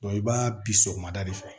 i b'a bi sɔgɔmada de fɛ